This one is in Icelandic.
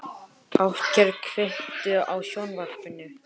Játgeir, kveiktu á sjónvarpinu.